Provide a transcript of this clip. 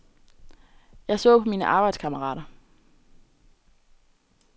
Jeg så på mine arbejdskammerater.